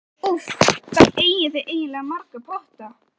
Úff, hvað eigið þið eiginlega marga potta?